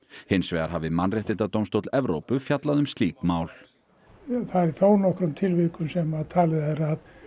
hins vegar hafi Mannréttindadómstóll Evrópu fjallað um slík mál það er í þónokkrum tilvikum sem talið er